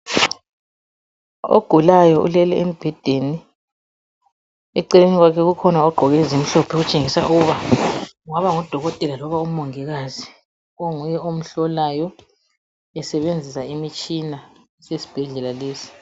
Ogulayo ulele embhedeni eceleni kwakhe kukhona ogqoke ezimhlophe okutshengisa ukuba kungaba ngudokotela loba umongikazi onguye omhlolayo esebenzisa imitshina yesibhedlela lesi.